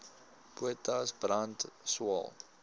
potas brand swael